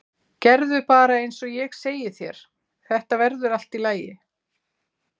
Gerðu bara eins og ég segi þér, þetta verður allt í lagi.